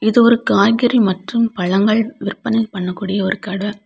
இது ஒரு காய்கறி மற்றும் பழங்கள் விற்பனை பண்ணக்கூடிய ஒரு கடை.